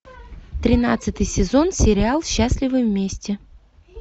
тринадцатый сезон сериал счастливы вместе